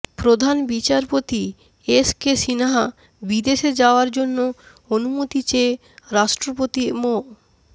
প্রধান বিচারপতি S K Sinha বিদেশে যাওয়ার জন্য অনুমতি চেয়ে রাষ্ট্রপতি মো